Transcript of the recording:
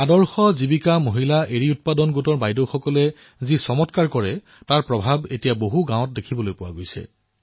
আদৰ্শ জীৱিকা মহিলা মালৱৰী উৎপাদন গোটৰ বাইদেউসকলে যি আচৰিত কাম কৰিছে তাৰ প্ৰভাৱ এতিয়া বহু গাঁৱত দেখিবলৈ পোৱা গৈছে